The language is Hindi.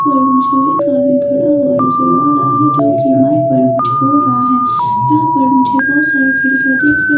और मुझे भी एक आदमी खड़ा हुआ नजर आ रहा है जो कि माइक पर कुछ बोल रहा है यहां पर मुझे बहुत सारी खिड़कियाँ दिख रही--